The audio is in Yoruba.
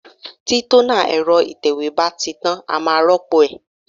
Tí tónà ẹ̀rọ ìtẹ̀wé bá ti tán, a máa rópò ẹ̀.